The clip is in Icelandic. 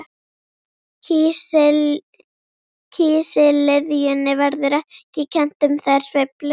Kísiliðjunni verður ekki kennt um þær sveiflur.